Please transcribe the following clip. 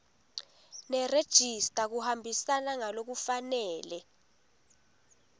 nerejista kuhambisana ngalokufanele